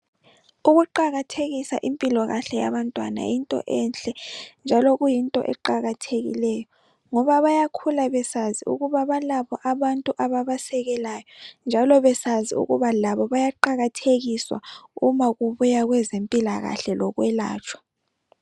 Ukuqakathekisa impilokahle yabantwana yinto enhle njalo kuyinto eqakathekileyo ngoba bayakhula besazi ukuba balabo abantu ababasekelayo njalo besazi laba bayaqakathekiswa kubuya kwezimpilakahle lokwelatshwa.